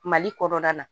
Mali kɔnɔna na